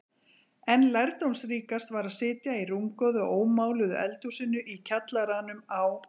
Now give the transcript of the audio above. En lærdómsríkast var að sitja í rúmgóðu og ómáluðu eldhúsinu í kjallaranum á